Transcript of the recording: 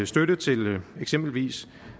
støtte til eksempelvis